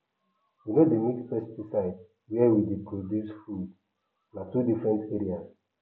we no dey mix pesticide where we dey produce foodna two different areas